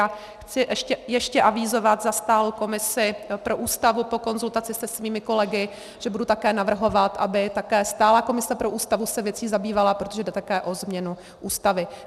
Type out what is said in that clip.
A chci ještě avizovat za stálou komisi pro Ústavu po konzultaci se svými kolegy, že budu také navrhovat, aby také stálá komise pro Ústavu se věcí zabývala, protože jde také o změnu Ústavy.